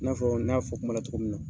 I n'a fɔ ne y'a fɔ kuma na cogo min na.